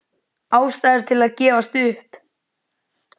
Ástæður til að gefast upp?